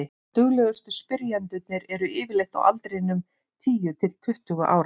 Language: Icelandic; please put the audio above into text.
duglegustu spyrjendurnir eru yfirleitt á aldrinum tíu til tuttugu ára